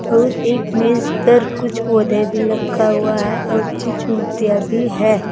और एक मेज पर कुछ पौधे भी रखा हुआ है और कुछ मूर्तियां भी है।